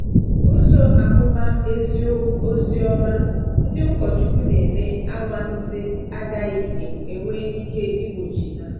Ụzọ amụma Ozioma—ndị ụkọchukwu na-eme anwansi agaghị enwe ike igbochi ha.